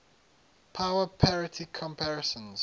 power parity comparisons